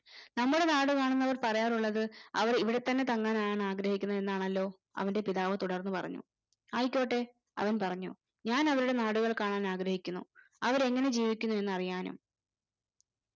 നമ്മളെ നാടു കാണുന്നവർ പറയാറുള്ളത് അവര് ഇവിടത്തന്നെ തങ്ങാൻ ആണ് ആഗ്രഹിക്കുന്നത് എന്നാണല്ലോ അവന്റെ പിതാവ് തുടർന്ന് പറഞ്ഞു ആയിക്കോട്ടെ അവൻ പറഞ്ഞു ഞാൻ അവരുടെ നാടുകൾ കാണാൻ ആഗ്രഹിക്കുന്നു അവര് എങ്ങനെ ജീവിക്കുന്നു എന്നറിയാനും